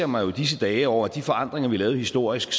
mig jo i disse dage over at de forandringer vi lavede historisk